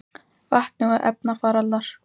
Vetni og efnarafalar: